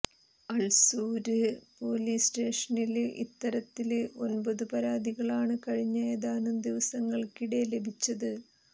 Ulsoor police സ്റ്റേഷനില് ഇത്തരത്തില് ഒന്പതു പരാതികളാണ് കഴിഞ്ഞ ഏതാനും ദിവസങ്ങള്ക്കിടെ ലഭിച്ചത്